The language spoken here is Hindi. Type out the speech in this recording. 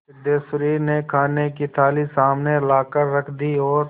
सिद्धेश्वरी ने खाने की थाली सामने लाकर रख दी और